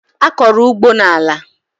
A kọrọ ugbo n'ala.